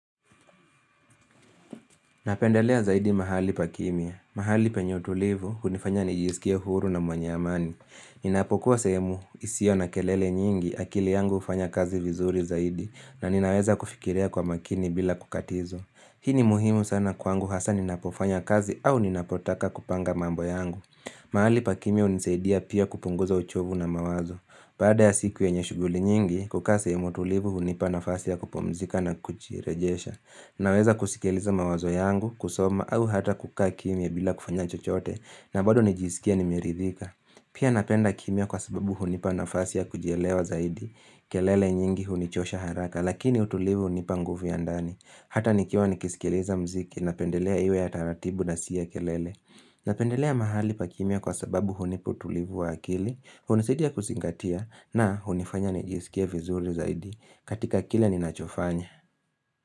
Napendelea zaidi mahali pa kimya. Mahali penye utulivu, unifanya nijisikia huru na mwanye amani. Ninapokuwa sehemu, hisio na kelele nyingi, akili yangu ufanya kazi vizuri zaidi, na ninaweza kufikirea kwa makini bila kukatizo. Hii ni muhimu sana kwangu hasa ninapofanya kazi au ninapotaka kupanga mambo yangu. Mahali pa kimya unisaidia pia kupunguza uchovu na mawazo. Baada ya siku enye shuguli nyingi, kukasa ya mutulivu, unipa na fasi ya kupomzika na kuchirejesha. Naweza kusikiliza mawazo yangu, kusoma, au hata kukaa kimia bila kufanya chochote, na bado nijisikia nimiridhika. Pia napenda kimya kwa sababu hunipa nafasi ya kujelewa zaidi. Kelele nyingi hunichosha haraka, lakini utulivu hunipa nguvu ya ndani. Hata nikiwa nikisikiliza mziki, napendelea iwe ya taratibu na siya kelele. Napendelea mahali pa kimya kwa sababu hunipa tulivu wa akili, hunisitia kusingatia, na hunifanya nijisikia vizuri zaidi. Katika kile ninachofanya.